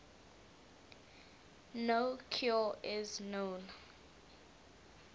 no cure is known